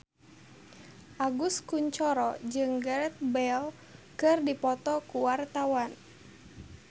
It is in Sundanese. Agus Kuncoro jeung Gareth Bale keur dipoto ku wartawan